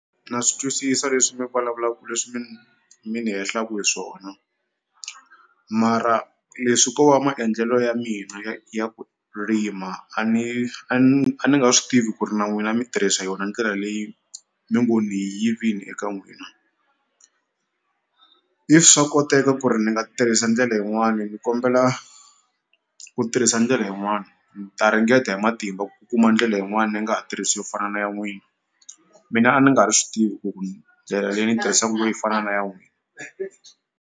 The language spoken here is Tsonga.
Na swi twisisa leswi mi vulavulaku leswi mi ni hehlaku hi swona mara leswi ko maendlelo ya mina ya ya ku rima a ni a ni a ni nga swi tivi ku ri na n'wina mi tirhisa yona ndlela leyi mi ngo ni yi yivini eka n'wina if swa koteka ku ri ni nga tirhisa ndlela yin'wani ni kombela ku tirhisa ndlela yin'wani ni ta ringeta hi matimba ku kuma ndlela yin'wani ni nga ha tirhisi yo fana na ya n'wina mina a ni nga ri swi tivi ku ni ndlela leyi ni tirhisaku ku ve yi fana na ya n'wina.